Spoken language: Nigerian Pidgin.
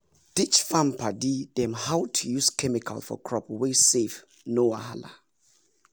teach farm padi dem how to use chemical for crop wey safe no wahala!